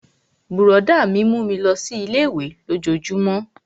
Brọ̀dá mi mú mi lọ sí ilé-ìwé lójojúmó